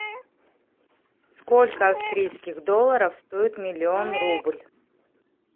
сколько австрийских долларов стоит миллион рубль